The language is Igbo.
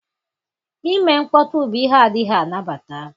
Ime mkpọtụ bụ ihe adịghị anabata.